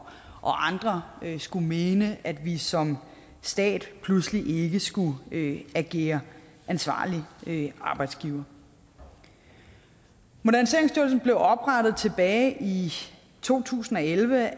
andre skulle mene at vi som stat pludselig ikke skulle agere ansvarlig arbejdsgiver moderniseringsstyrelsen blev oprettet tilbage i to tusind og elleve af